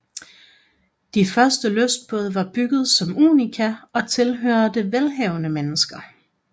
De første lystbåde var bygget som unika og tilhørte velhavende mennesker